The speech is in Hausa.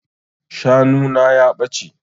Shanu na ya ɓace.